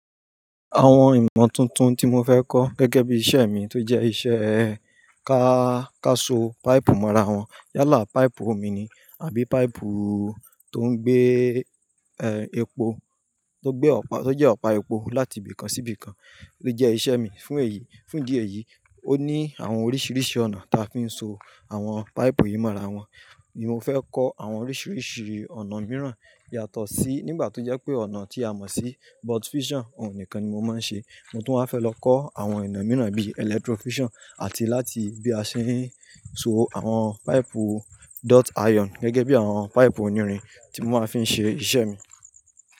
Àwọn ìmọ̀ tuntun tí mo fẹ́ kọ́ gẹ́gẹ́ bí iṣẹ́ mi tó jẹ́ iṣẹ́ ká, káso páìpù mọ́ra wọn yálà páìpù omi ni àbí páìpù tó ń gbé, epo, tó gbé ọ̀pa, tó jẹ́ ọ̀pá epo láti ibì kan sí ibì kan ló jẹ́ iṣẹ́ mi. Fún èyí, fún ìdí èyí, ó ní àwọn oríṣiríṣi ọ̀nà ta fi ń so àwọn páìpù yìí mọ́ra wọn ni mo fẹ́ kọ́ àwọn oríṣiríṣi ọ̀nà mìíràn yàtọ̀ sí nígbà tó jẹ́ pé ọ̀nà tí a mọ̀ sí butt fusion òhun nìkan ni mo máa ń ṣe. Mo tún waa fẹ́ lọ kọ́ àwọn ìná mìíràn bí electro fusion àti láti bí a ṣe ń so àwọn páìpù duct iron gẹ́gẹ́ bí àwọn páìpù onírin tí mo máa fi ń ṣe iṣẹ́ mi.